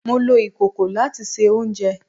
Mo lo ikoko lati se ounjẹ